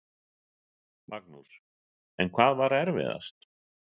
Magnús: En hvað var erfiðast?